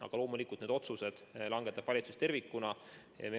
Aga loomulikult, need otsused langetab valitsus tervikuna.